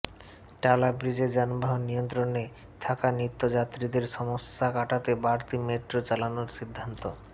টালা ব্রিজে যানবাহন নিয়ন্ত্রণে থাকা নিত্যযাত্রীদের সমস্যা কাটাতে বাড়তি মেট্রো চালানোর সিদ্ধান্ত